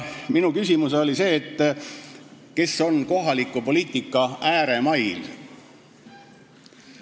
Minu küsimus oli nende kohta, kes on pärit kohaliku poliitika ääremailt.